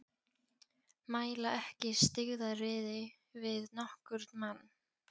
Mæla ekki styggðaryrði við nokkurn mann.